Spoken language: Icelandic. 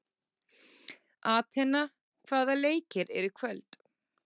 Atena, hvaða leikir eru í kvöld?